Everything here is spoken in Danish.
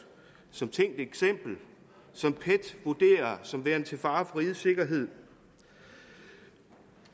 som et tænkt eksempel som pet vurderer som værende til fare for rigets sikkerhed